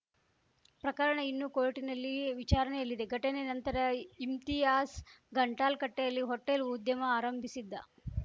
ಪ್ರಕರಣ ಇನ್ನೂ ಕೋರ್ಟ್‌ನಲ್ಲಿ ವಿಚಾರಣೆಯಲ್ಲಿದೆ ಘಟನೆ ನಂತರ ಇಮ್ತಿಯಾಸ್‌ ಗಂಟಾಲ್‌ಕಟ್ಟೆಯಲ್ಲಿ ಹೋಟೆಲ್‌ ಉದ್ಯಮ ಆರಂಭಿಸಿದ್ದ